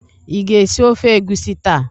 Ị ga-esi ofe egusi taa?